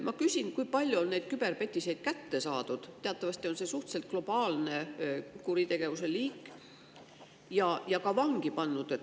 Ma küsin, kui palju neid küberpetiseid on kätte saadud – teatavasti on see globaalne kuritegevuse liik – ja ka vangi pandud.